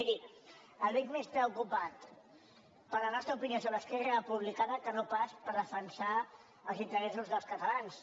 miri el veig més preocupat per la nostra opinió sobre esquerra re·publicana que no pas per defensar els interessos dels catalans